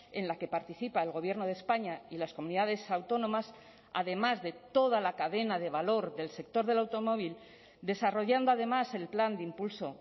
en la que participa el gobierno de españa y las comunidades autónomas además de toda la cadena de valor del sector del automóvil desarrollando además el plan de impulso